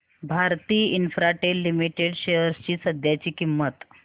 Bharti Infratel limited shares ची सध्याची किंमत